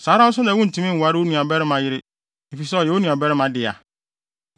“ ‘Saa ara nso na wuntumi nnware wo nuabarima yere, efisɛ ɔyɛ wo nuabarima dea.